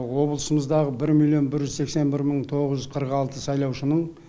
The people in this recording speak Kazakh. облысымыздағы бір миллион бір жүз сексен бір мың тоғыз жүз қырық алты сайлаушының